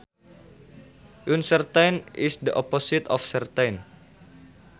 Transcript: Uncertain is the opposite of certain